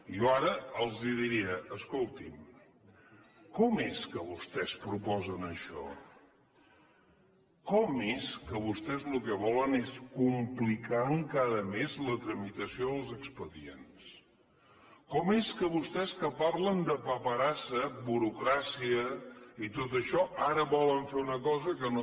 jo ara els diria escoltin com és que vostès proposen això com és que vostès el que volen és complicar encara més la tramitació dels expedients com és que vostès que parlen de paperassa burocràcia i tot això ara volen fer una cosa que no